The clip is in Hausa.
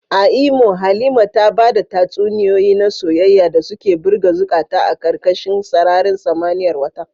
A Imo, Halima ta bada tatsuniyoyi na soyayya da suka birge zukata a karkashin sararin samaniyar wata.